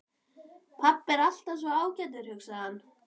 Pabbi er alltaf svo ágætur, hugsaði hann.